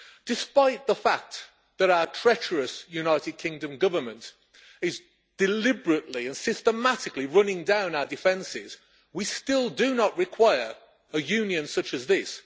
Despite the fact that our treacherous United Kingdom Government is deliberately and systematically running down our defences, we still do not require a union such as this.